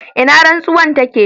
ina rantsuwar take?